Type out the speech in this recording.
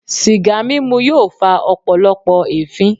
Sìgá mímu yóò fa ọpọlọpọ ẹfin.